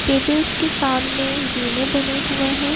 Tables के सामने जीने बने हुए हैं।